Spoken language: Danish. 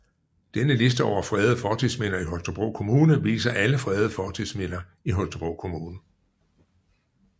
Denne liste over fredede fortidsminder i Holstebro Kommune viser alle fredede fortidsminder i Holstebro Kommune